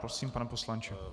Prosím, pane poslanče.